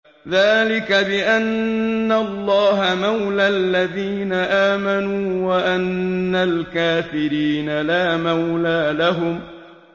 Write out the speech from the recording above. ذَٰلِكَ بِأَنَّ اللَّهَ مَوْلَى الَّذِينَ آمَنُوا وَأَنَّ الْكَافِرِينَ لَا مَوْلَىٰ لَهُمْ